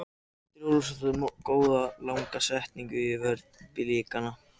Andri Ólafsson átti góða langa sendingu innfyrir vörn Blikana.